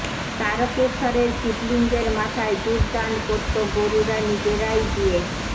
তারকেশ্বরের শিবলঙ্গের মাথায় দুধ দান করত গরুরা নিজেরাই গিয়ে